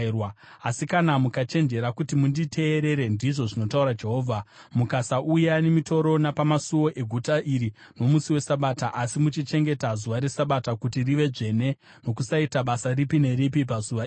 Asi kana mukachenjerera kuti munditeerere, ndizvo zvinotaura Jehovha, mukasauya nemitoro napamasuo eguta iri nomusi weSabata, asi muchichengeta zuva reSabata kuti rive dzvene nokusaita basa ripi neripi pazuva iroro,